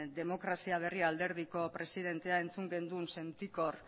demokrazia berria alderdiko presidentea entzun genuen sentikor